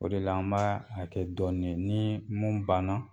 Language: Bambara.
O de la an b'a a kɛ kɛ dɔɔnin ni mun banna